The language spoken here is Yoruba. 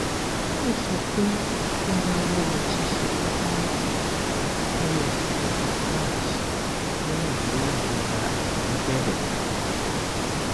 ó sọ pé ó dáwọ ṣiṣẹ tabulẹti ní oṣù kẹta march lẹyìn tí irora ẹyin bẹrẹ